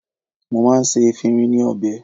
Mo máa ń ṣe efinrin ní ọbẹ̀.